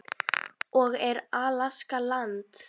og Er Alaska land?